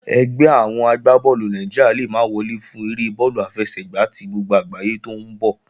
Ẹgbẹ́ àwọn agbá bọ́ọ̀lù Nàìjíríà le mọ́ wọlé fún eré bọ́ọ̀lù àfẹsẹ̀gbá tí gbogbo àgbáyé tó ń bọ̀